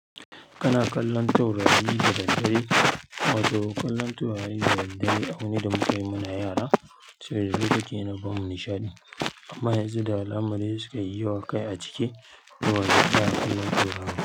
Kana kallon taurari da daddare, wato kallon taurari da daddare abu ne da muka yi muna yara saboda duk yake yana bamu nishaɗi. Amma yanzu da alamari suka yi yawa kai a ciki, ruwa yake hana kallon taurari.